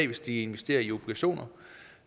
hvis de investerer i obligationer